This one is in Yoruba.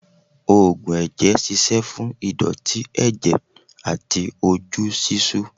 Ógùn ẹ̀jẹ̀ ṣíṣe fún ìdọ̀tí ẹ̀jẹ̀ àti ojú ṣíṣú.